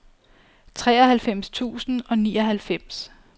treoghalvfems tusind og nioghalvfems